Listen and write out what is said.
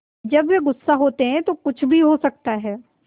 जब वे गुस्सा होते हैं तो कुछ भी हो सकता है